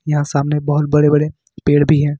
यहां सामने बहुत बड़े बड़े पेड़ भी है।